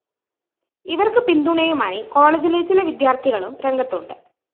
ഇവര്‍ക്ക് പിന്തുണയുമായി കോളേജിലെ ചില വിദ്യാര്‍ത്ഥികളും രംഗത്തുണ്ട്